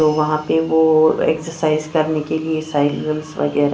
तो वहां पे वो एक्सरसाइज करने के लिए साइकिल वगेरा --